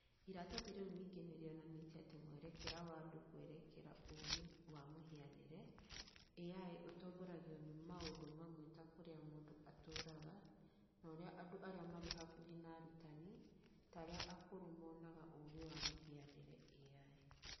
Iratathi rĩu ningĩ nĩ rĩonanĩtie atĩ mwerekera wa andũ kwerekera ũũgĩ wa mũhianĩre (AI)ũtongoragio nĩ maũndũ mamwe ta kũrĩa mũndũ atũũraga, na ũrĩa andũ arĩa marĩ hakuhĩ na arutani, ta arĩa akũrũ monaga ũũgĩ wa mũhianĩre (AI)